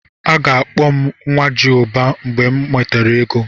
A ga-akpọ m "Nwajiụba" mgbe m nwetara ego.